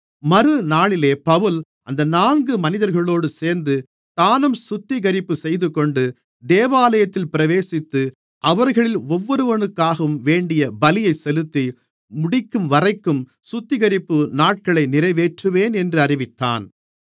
மறுநாளிலே பவுல் அந்த நான்கு மனிதர்களோடு சேர்ந்து தானும் சுத்திகரிப்புச் செய்துகொண்டு தேவாலயத்தில் பிரவேசித்து அவர்களில் ஒவ்வொருவனுக்காகவும் வேண்டிய பலியை செலுத்தி முடிக்கும்வரைக்கும் சுத்திகரிப்பு நாட்களை நிறைவேற்றுவேன் என்று அறிவித்தான்